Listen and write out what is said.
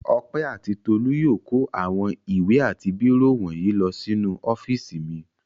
Ọpẹ́ àti Tolú yóò kó àwọn ìwé àti bírò wọ̀nyí lọ sínú ọ́fíísì mi.